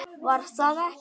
Var það ekki????